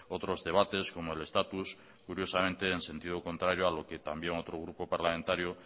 otros debates como el estatus curiosamente en sentido contrario a lo que también otro grupo parlamentario